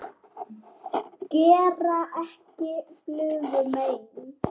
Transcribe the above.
Gera ekki flugu mein.